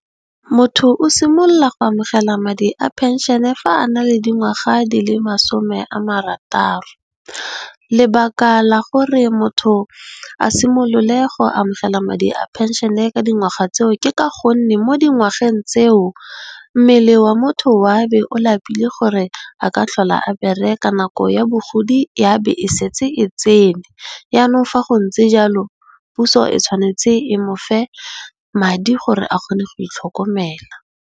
Motho o simolola go amogela madi a phenšene fa a na le dingwaga di le masome a marataro. Lebaka la gore motho a simolole go amogela madi a phenšene ka dingwaga tseo ke ka gonne mo dingwageng tseo, mmele wa motho wa be o lapile gore a ka tlhola a bereka nako ya bogodi ya be e setse e tsene yanong fa go ntse jalo puso e tshwanetse e mofe madi gore a kgone go itlhokomela.